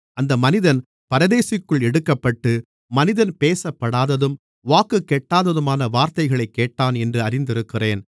அந்த மனிதன் பரதீசுக்குள் எடுக்கப்பட்டு மனிதன் பேசப்படாததும் வாக்குக்கெட்டாததுமான வார்த்தைகளைக் கேட்டான் என்று அறிந்திருக்கிறேன்